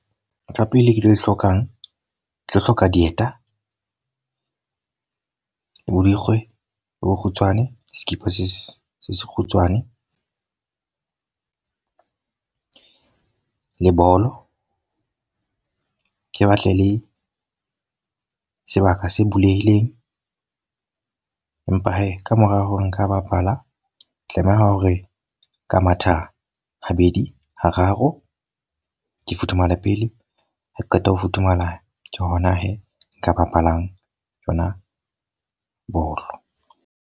Ntho ya pele ke tlo e hlokang. Ke tlo hloka dieta, borikgwe bo bokgutshwane, sekipa se sekgutshwane le bolo. Ke batle le sebaka se bulehileng. Empa he, ka mora hore nka bapala, tlameha hore ka mathe habedi hararo ke futhumale pele. Ha qeta ho futhumala ke hona he nka bapalang yona bolo.